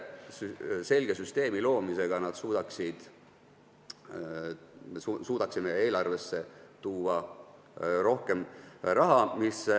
Sellise selge süsteemi loomisega me suudaksime eelarvesse tuua rohkem raha.